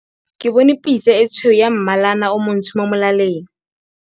Ke bone pitse e tshweu ya mmalana o montsho mo molaleng.